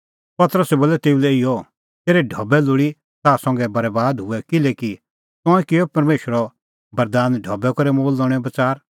पतरसै बोलअ तेऊ लै इहअ तेरै ढबै लोल़ी ताह संघै बरैबाद हुऐ किल्हैकि तंऐं किअ परमेशरो दान ढबै करै मोल लणेंओ बच़ार